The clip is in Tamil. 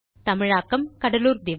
தமிழாக்கம் கடலூர் திவா